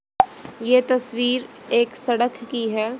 ये तस्वीर एक सड़क की है।